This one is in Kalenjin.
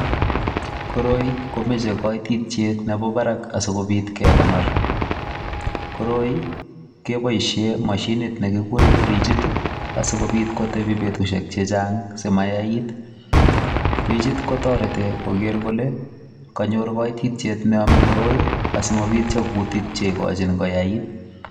Koroi komeche kaititet nebo barak asikobit kekonor. Koroi, kiboisiie mashinit ne kikure frijit asikobit kotebi betusiek chechang' asimayait. Friit kotoreti koker kole kanyor kaititiet ne yame koroi, asimabityo kutik che ikochin koyait.